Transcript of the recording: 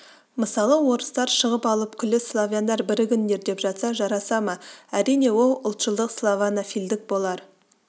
мысалы орыстар шығып алып күллі славяндар бірігіңдер деп жатса жараса ма әрине ол ұлтшылдық славянофильдік болар